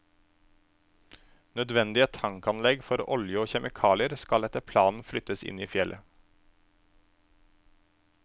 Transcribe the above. Nødvendige tankanlegg for olje og kjemikalier skal etter planen flyttes inn i fjellet.